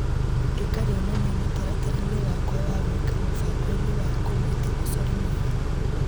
ĩka rĩonanio mũtaratara-inĩ wakwa wa gwĩka mũbango-inĩ wa kũmũĩta mũcori mwega.